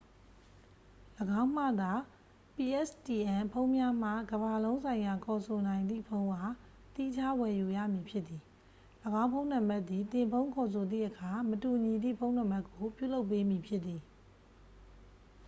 ၎င်းမှသာ pstn ဖုန်းများမှကမ္ဘာလုံးဆိုင်ရာခေါ်ဆိုနိုင်သည့် ဖုန်းအား သီးခြားဝယ်ယူရမည်ဖြစ်သည် ။ ၎င်းဖုန်းနံပါတ်သည် သင်ဖုန်းခေါ်ဆိုသည့်အခါ မတူညီသည့်ဖုန်းနံပါတ်ကို ပြုလုပ်ပေးမည်ဖြစ်သည်။